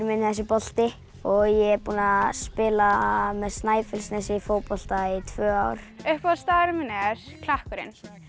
minn er þessi bolti ég er búinn að spila með Snæfellsnesi í fótbolta í tvö ár uppáhaldsstaðurinn minn er Klakkurinn